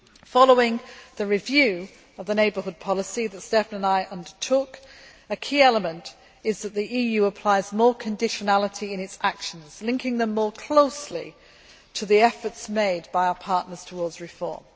Following the review of the neighbourhood policy that Štefan and I undertook, a key element is that the EU applies more conditionality in its actions, linking them more closely to the efforts made by our partners towards reform.